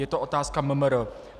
Je to otázka MMR.